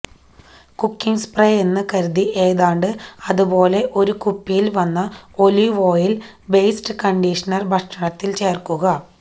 cooking spray എന്ന് കരുതി ഏതാണ്ട് അതുപോലെ ഒരു കുപ്പിയിൽ വന്ന ഒലിവ് ഓയിൽ ബേസ്ഡ് കണ്ടീഷണർ ഭക്ഷണത്തിൽ ചേർക്കുക